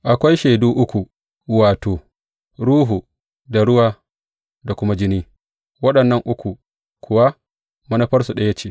Akwai shaidu uku, wato, Ruhu, da ruwa, da kuma jini; waɗannan uku kuwa manufarsu ɗaya ce.